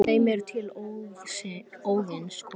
þeim er til Óðins koma